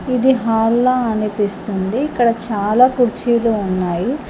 ఇది హాల్ల అనిపిస్తుంది ఇక్కడ చాలా కుర్చీలు ఉన్నాయి